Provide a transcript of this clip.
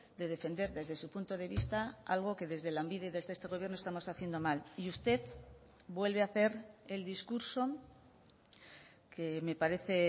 de defender desde su punto de vista algo que desde lanbide desde este gobierno estamos haciendo mal y usted vuelve a hacer el discurso que me parece